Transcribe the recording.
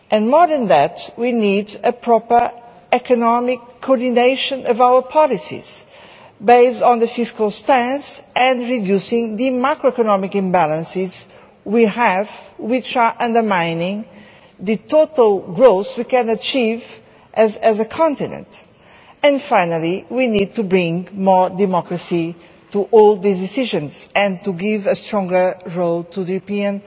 More than that, we need a proper economic coordination of our policies based on the fiscal stance and reducing the macroeconomic imbalances we have, which are undermining the total growth we can achieve as a continent. Finally, we need to bring more democracy to all these decisions and to give a stronger role to the European